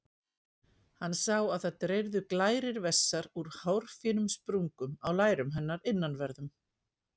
Hann sá að það dreyrðu glærir vessar úr hárfínum sprungum á lærum hennar innanverðum.